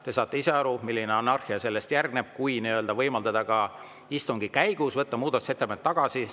Te saate ise aru, milline anarhia sellele järgneb, kui võimaldada ka istungi käigus muudatusettepanekuid tagasi võtta.